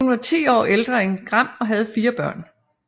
Hun var 10 år ældre end Gram og havde fire børn